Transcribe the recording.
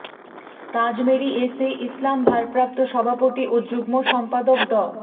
Tazmeri S A Islam ভারপ্রাপ্ত সভাপতি ও যুগ্ম সম্পাদক ড